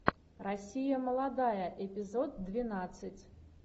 россия молодая эпизод двенадцать